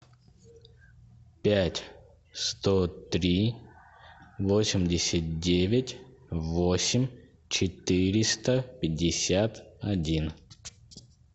пять сто три восемьдесят девять восемь четыреста пятьдесят один